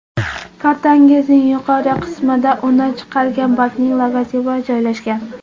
Kartangizning yuqori qismida uni chiqargan bankning logotipi joylashgan.